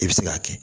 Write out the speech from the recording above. I bɛ se k'a kɛ